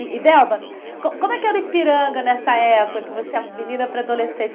E e, Delba, co como é que era Ipiranga nessa época, que você é menina para adolescente?